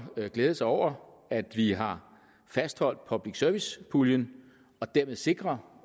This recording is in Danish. glæde sig over at vi har fastholdt public service puljen og dermed sikrer